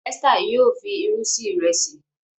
Esther yíò fí ìrù sí Ìrẹsí.